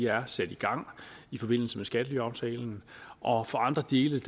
er sat i gang i forbindelse med skattelyaftalen og for andre dele